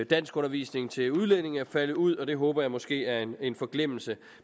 danskundervisning til udlændinge er faldet ud og det håber jeg måske er en forglemmelse